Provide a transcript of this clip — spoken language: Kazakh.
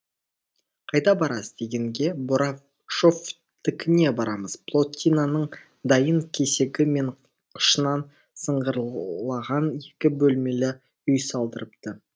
қайда барасыз дегенге борашовтікіне барамыз плотинаның дайын кесегі мен қышынан сыңғырлаған екі бөлмелі үй салдырыпты